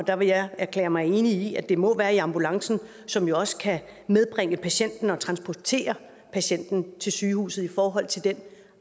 der vil jeg erklære mig enig i at det må være i ambulancen som jo også kan medbringe patienten og transportere patienten til sygehuset i forhold til den